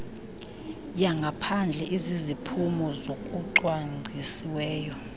yangaphandle eziziphumo zokucwangcisiweyo